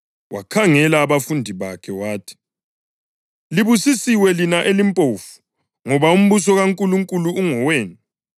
Wakhangela abafundi bakhe wathi: “Libusisiwe lina elimpofu, ngoba umbuso kaNkulunkulu ngowenu.